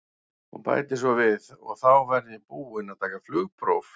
Hún bætir svo við: og þá verð ég búin að taka flugpróf.